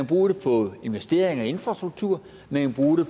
bruge det på investeringer i infrastruktur man kan bruge